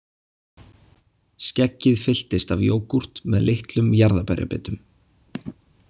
Skeggið fylltist af jógúrt með litlum jarðarberjabitum